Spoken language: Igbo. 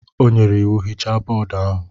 O nyere iwu, hichaa bọọdụ ahụ?